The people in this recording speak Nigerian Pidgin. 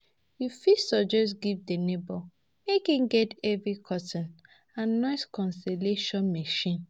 You fit suggest give di neighbor make im get heavy curtain and noise cancellation machine